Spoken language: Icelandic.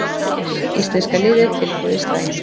Íslenska liðið tilbúið í slaginn